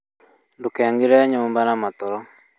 Ndũkaingĩre nyumba na matoro